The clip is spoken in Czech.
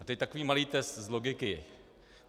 A teď takový malý test z logiky.